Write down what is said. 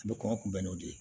A bɛ kɔngɔ kunbɛn n'o de ye